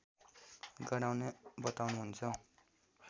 गराउने बताउनुहुन्छ